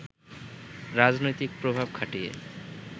রাজনৈতিক প্রভাব খাটিয়ে